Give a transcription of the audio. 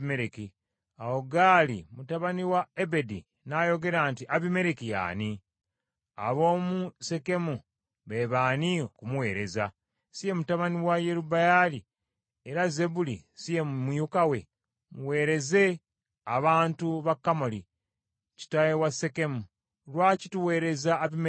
Awo Gaali mutabani wa Ebedi n’ayogera nti, “Abimereki ye ani? Ab’omu Sekemu be baani okumuweereza? Si ye mutabani wa Yerubbaali, era Zebbuli si ye mumyuka we? Muweereze abantu ba Kamoli, kitaawe wa Sekemu. Lwaki tuweereza Abimereki?